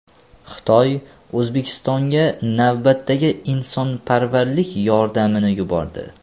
Xitoy O‘zbekistonga navbatdagi insonparvarlik yordamini yubordi.